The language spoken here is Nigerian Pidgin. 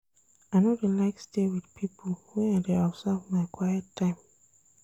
I no dey like stay wit pipo wen I dey observe my quiet time.